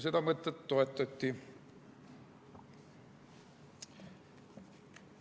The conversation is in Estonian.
Seda mõtet toetati.